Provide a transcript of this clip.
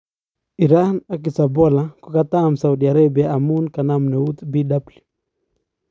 Iran ak Hezbollah kokatam saudi Arabia amun kanap neut Bw.